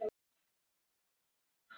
Hvað er genasamsæta?